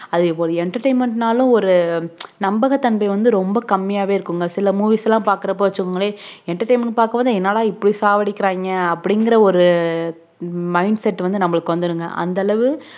அது ஒரு entertainment நாளும் ஒரு நண்பக தன்மை வந்து ரொம்ப கம்மியாவே இருக்கும் சில movie லாம் பாக்குரப்ப வச்சிங்களே entertainment க்கு பாக்கும்போதே என்னடா இப்புடி சாகடிக்குறாங்க அபுடிங்குற ஒரு அஹ் mind செட் நம்மக்கு வந்துருங்க அந்த அளவு